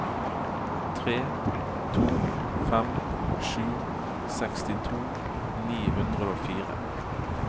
tre to fem sju sekstito ni hundre og fire